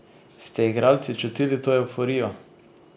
Ste igralci čutili to evforijo?